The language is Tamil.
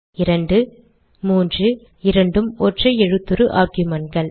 2 3 இரண்டும் ஒற்றை எழுத்துரு ஆர்குமென்ட் கள்